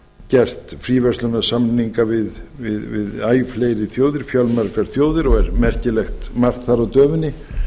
gert fríverslunarsamninga við æ fleiri þjóðir fjölmargar þjóðir og merkilegt margt þar á döfinni